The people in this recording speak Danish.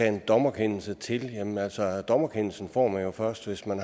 en dommerkendelse til jamen altså dommerkendelsen får man jo først hvis man